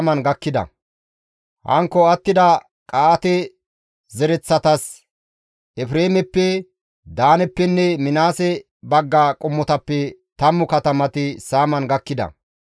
Hankko attida Qa7aate zereththatas Efreemeppe, Daaneppenne Minaases bagga qommotappe 10 katamati saaman gakkida.